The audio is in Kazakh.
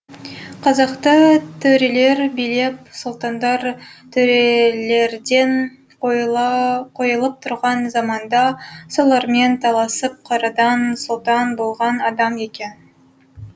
қазақты төрелер билеп сұлтандар төрелерден қойылып тұрған заманда солармен таласып қарадан сұлтан болған адам екен